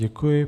Děkuji.